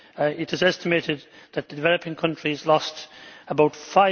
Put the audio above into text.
It is estimated that the developing countries lost about EUR